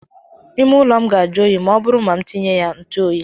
Ime ụlọ m ga ajụ oyi ma ọ bụrụ ma m tinye ya ntụ oyi.